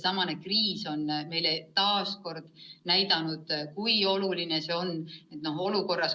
Praegune kriis on meile taas näidanud, kui oluline see on.